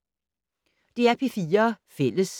DR P4 Fælles